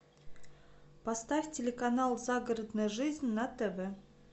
поставь телеканал загородная жизнь на тв